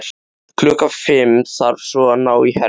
Klukkan fimm þarf svo að ná í Helga.